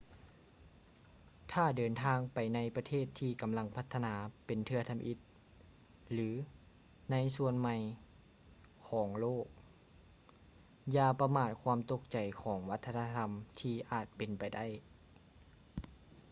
ຖ້າເດີນທາງໄປໃນປະເທດທີ່ກຳລັງພັດທະນາເປັນເທື່ອທຳອິດ ຫຼື ໃນສ່ວນໃໝ່ຂອງໂລກ ຢ່າປະມາດຄວາມຕົກໃຈຂອງວັດທະນະທຳທີ່ອາດເປັນໄປໄດ້